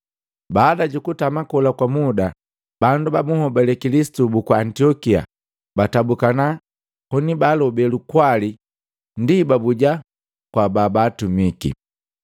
Baada jukutama kola kwa muda, bandu ba bunhobali Kilisitu buku Antiokia baatabuka koni baalobe lukwali, ndi babuja kwa babatumiki.